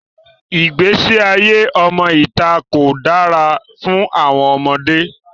Igbesi aye ọmọ ita ko dara fun àwọn ọmọde.